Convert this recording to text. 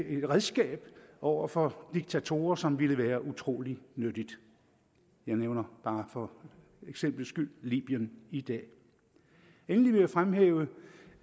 et redskab over for diktatorer som ville være utrolig nyttigt jeg nævner bare for eksemplets skyld libyen i dag endelig vil jeg fremhæve